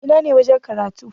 Ina ne wajen karatu?